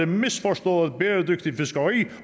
misforstået bæredygtigt fiskeri